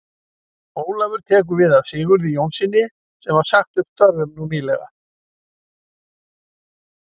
Ólafur tekur við af Sigurði Jónssyni sem var sagt upp störfum nú nýlega.